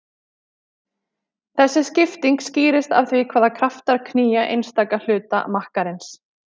Þessi skipting skýrist af því hvaða kraftar knýja einstaka hluta makkarins.